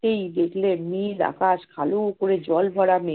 নেমে দেখলেন নীল আকাশ কালো করে জল ভরা মেঘে